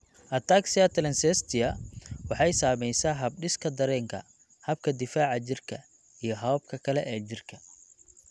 Ataxia telangiectasia waxay saamaysaa habdhiska dareenka, habka difaaca jirka, iyo hababka kale ee jidhka.